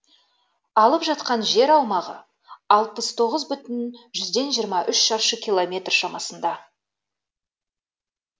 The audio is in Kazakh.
алып жатқан жер аумағы алпыс тоғыз бүтін жүзден жиырма үш шаршы километр шамасында